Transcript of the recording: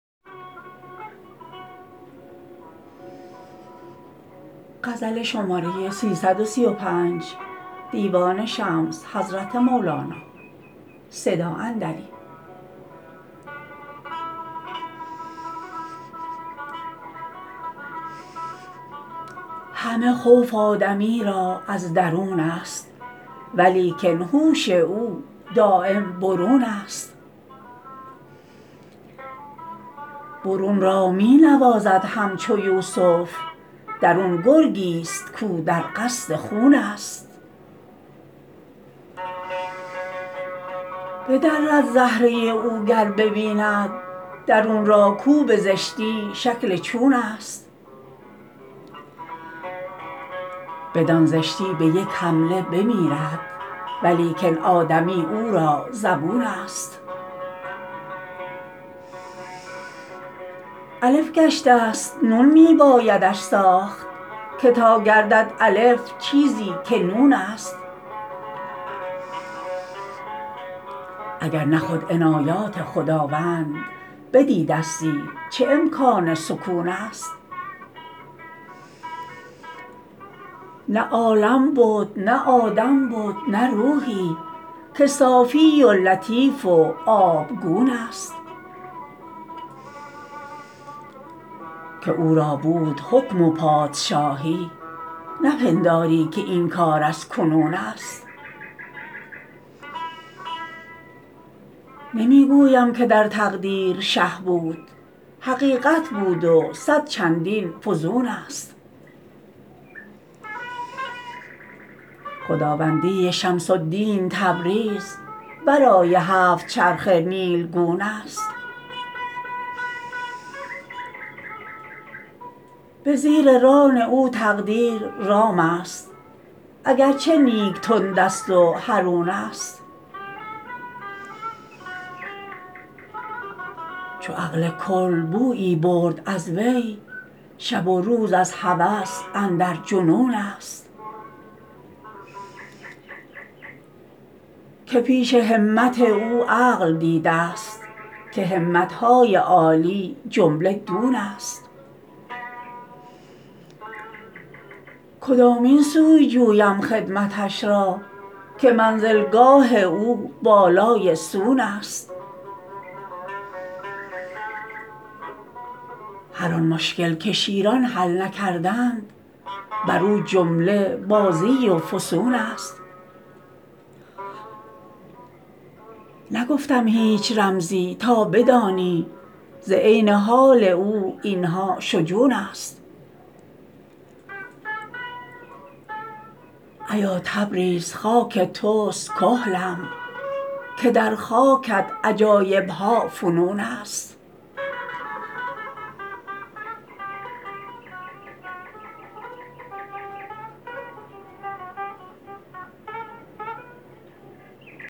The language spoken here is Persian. همه خوف آدمی را از درونست ولیکن هوش او دایم برونست برون را می نوازد همچو یوسف درون گرگی ست کاو در قصد خونست بدرد زهره او گر ببیند درون را کاو به زشتی شکل چونست بدان زشتی به یک حمله بمیرد ولیکن آدمی او را زبونست الف گشته ست نون می بایدش ساخت که تا گردد الف چیزی که نونست اگر نه خود عنایات خداوند بدیده ستی چه امکان سکون ست نه عالم بد نه آدم بد نه روحی که صافی و لطیف و آبگون ست که او را بود حکم و پادشاهی نپنداری که این کار از کنونست نمی گویم که در تقدیر شه بود حقیقت بود و صد چندین فزونست خداوندی شمس الدین تبریز ورای هفت چرخ نیلگونست به زیر ران او تقدیر رامست اگر چه نیک تندست و حرونست چو عقل کل بویی برد از وی شب و روز از هوس اندر جنونست که پیش همت او عقل دیده ست که همت های عالی جمله دونست کدامین سوی جویم خدمتش را که منزلگاه او بالای سونست هر آن مشکل که شیران حل نکردند بر او جمله بازی و فسونست نگفتم هیچ رمزی تا بدانی ز عین حال او این ها شجونست ایا تبریز خاک توست کحلم که در خاکت عجایب ها فنونست